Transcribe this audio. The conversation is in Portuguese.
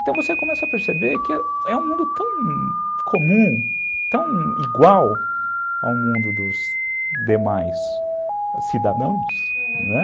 Então você começa a perceber que é um mundo tão comum, tão igual ao mundo dos demais cidadãos, aham